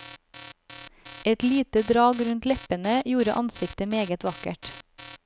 Et lite drag rundt leppene gjorde ansiktet meget vakkert.